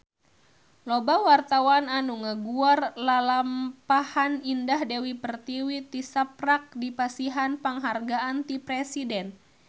Loba wartawan anu ngaguar lalampahan Indah Dewi Pertiwi tisaprak dipasihan panghargaan ti Presiden